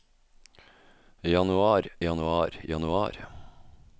januar januar januar